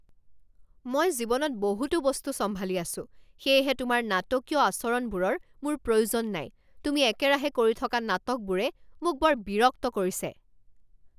মই জীৱনত বহুতো বস্তু চম্ভালি আছোঁ সেয়েহে তোমাৰ নাটকীয় আচৰণবোৰৰ মোৰ প্ৰয়োজন নাই। তুমি একেৰাহে কৰি থকা নাটকবোৰে মোক বৰ বিৰক্ত কৰিছে।